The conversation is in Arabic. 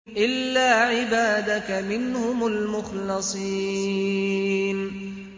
إِلَّا عِبَادَكَ مِنْهُمُ الْمُخْلَصِينَ